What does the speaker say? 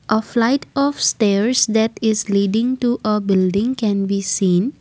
a flight up stairs that is leading to a building can we seen.